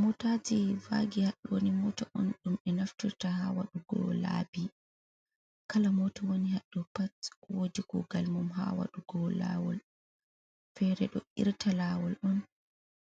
Mootaaji vaagi haɗɗo nii moota on ɗum ɓe naftirta haa wadyugo laabi kala moota woni haa ɗo pat woodi kougal mum haa waɗugo laawol, feree ɗo irta laawol on,